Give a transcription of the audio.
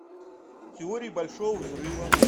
теория большого взрыва